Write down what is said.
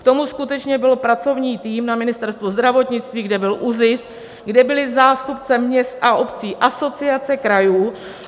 K tomu skutečně byl pracovní tým na Ministerstvu zdravotnictví, kde byl ÚZIS, kde byli zástupci měst a obcí, Asociace krajů.